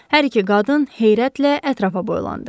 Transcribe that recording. Hər iki qadın heyrətlə ətrafa boylandı.